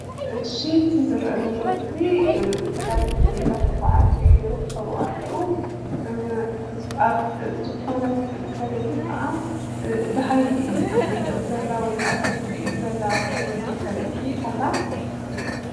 እሺ እቲ ዝርአ ዘሎ ምስሊ ተጋደልቲ እንዳተጓዕዙ ይርከቡ ኣለዉ፡፡ ዝኾነት ሰበይቲ ከዓ ደሃይ ትጥይቕ ዘላ ወይ ከዓ ሰብ ትጥይቅ ዘላ ትመስል ሰበይቲ ኣላ፡፡